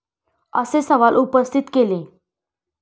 असे सवाल उपस्थित केले.